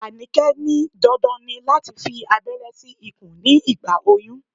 Anike ní dandan ni láti fi aberé sí ikùn ní ìgbà oyún.